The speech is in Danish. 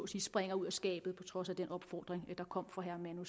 sige springer ud af skabet på trods af den opfordring der kom fra herre manu